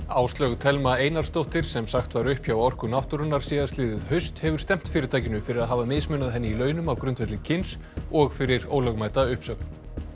Áslaug Thelma Einarsdóttir sem sagt var upp hjá Orku náttúrunnar síðastliðið haust hefur stefnt fyrirtækinu fyrir að hafa mismunað henni í launum á grundvelli kyns og fyrir ólögmæta uppsögn